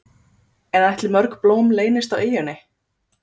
En ætli mörg blóm leynist á eyjunni?